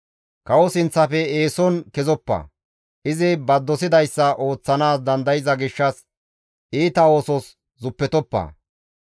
Kawo sinththafe eeson kezoppa; izi ba dosidayssa ooththanaas dandayza gishshas iita oosos zuppetoppa.